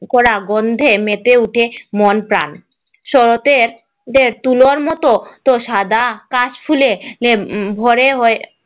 করা গন্ধে মেতে ওঠে মন প্রাণ, শরতের তুলোর মতো সাদা কাশফুলে ভরে হয়ে